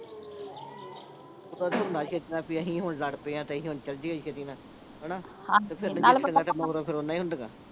ਇਹ ਤਾਂ ਉਦੋਂ ਹੁੰਦਾ ਛੇਤੀ, ਵੀ ਅਸੀਂ ਹੁਣ ਲੜ ਪਏ ਆਂ, ਤੇ ਅਸੀਂ ਹੁਣ ਚਲ ਜੀਏ ਛੇਤੀ ਨਾਲ ਹਨਾ। ਤੇ ਪਿੱਛੇ ਵੇਖ ਕੇ ਮਗਰੋਂ ਫਿਰ ਰੋਂਦੀਆਂ ਹੀ ਹੁੰਦੀਆਂ.